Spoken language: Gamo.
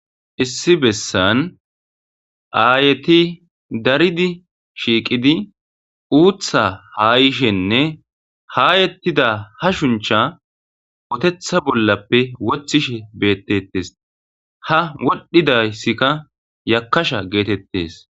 issi bessan aayeti daridi shiiqidi uutha ha yishenne haayettida ha shuncha wotetha bollappe wothishe beettetes ha wodhdhidayssikka yakasha geetettes